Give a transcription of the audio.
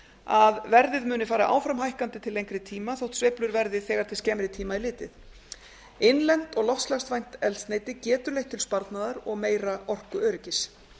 að verðið muni fara áfram hækkandi til lengri tíma þótt sveiflur verði þegar til skemmri tíma er litið innlent og loftslagsvænt eldsneyti getur leitt til sparnaðar og meira orkuöryggis